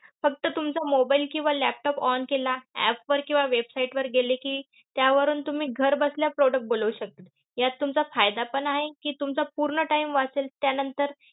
फक्त तुमचा mobile किंवा laptop on केला, app वर किंवा website वर गेले कि, त्यावरून तुम्ही घरबसल्या product बोलवू शकतात. यात तुमचा फायदा पण आहे कि, तुमचा पूर्ण time वाचेल. त्यानंतर